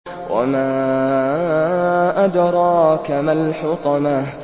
وَمَا أَدْرَاكَ مَا الْحُطَمَةُ